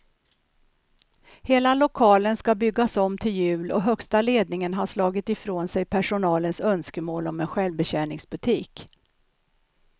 Hela lokalen ska byggas om till jul och högsta ledningen har slagit ifrån sig personalens önskemål om en självbetjäningsbutik.